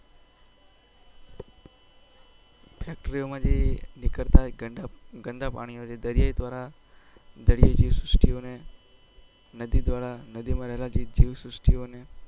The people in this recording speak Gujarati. Factory માં જે ગદ્દા પાણી ઓ છે દરિયા ધ્વારા દરિયાયી જીવ સૃષ્ટી ને નદી દ્વારા નામ માં રહેલા જીવ સૃષ્ટી ઓને